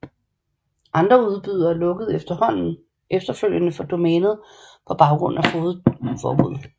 Andre udbydere lukkede efterfølgende for domænet på baggrund af fogedforbuddet